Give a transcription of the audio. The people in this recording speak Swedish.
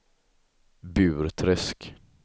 Burträsk